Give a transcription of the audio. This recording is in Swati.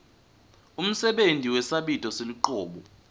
umsebenti wesabito selucobo